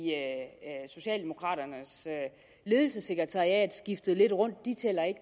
socialdemokraternes ledelsessekretariat skiftede lidt rundt de tæller ikke